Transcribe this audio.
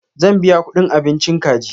Zan biya kuɗin abinchi kaji.